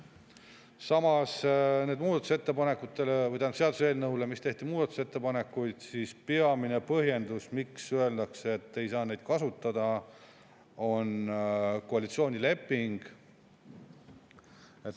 Samas on peamine põhjendus, miks öeldakse, et ei saa muudatusettepanekuid selle seaduseelnõu juures kasutada, koalitsioonileping.